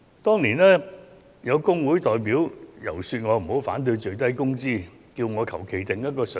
當年曾有工會代表遊說我不要反對法定最低工資，並請我隨意訂定一個水平。